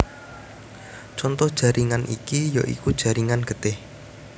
Conto jaringan iki ya iku jaringan getih